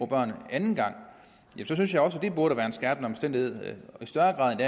børn anden gang synes jeg også at det burde være en skærpende omstændighed i større grad